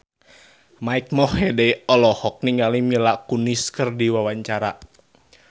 Mike Mohede olohok ningali Mila Kunis keur diwawancara